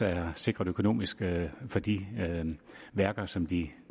er sikret økonomisk for de værker som de